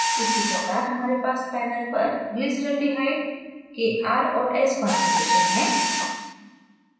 उसी प्रकार हमारे पास पैनलglyceraldehyde के r और s configurations हैं